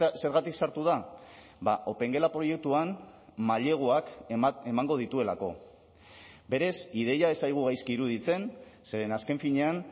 zergatik sartu da opengela proiektuan maileguak emango dituelako berez ideia ez zaigu gaizki iruditzen zeren azken finean